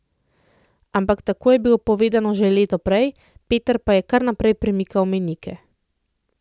Ampak tako je bilo povedano že leto prej, Peter pa je kar naprej premikal mejnike.